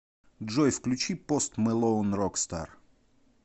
джой включи пост мэлоун рокстар